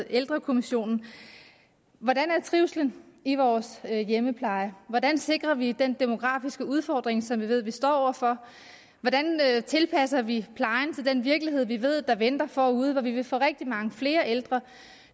ældrekommissionen hvordan er trivslen i vores hjemmepleje hvordan sikrer vi den demografiske udfordring som vi ved at vi står over for hvordan tilpasser vi plejen til den virkelighed vi ved der venter forude hvor vi vil få rigtig mange flere ældre